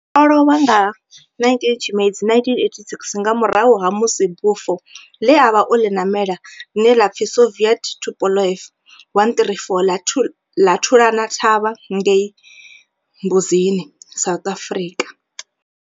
O lovha nga 19 Tshimedzi 1986 nga murahu ha musi bufho le a vha o li namela, line la pfi Soviet Tupolev 134 la thulana thavha ngei Mbuzini, South Africa.